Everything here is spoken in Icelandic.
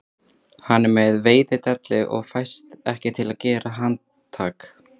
Hann er með veiðidellu og fæst ekki til að gera handtak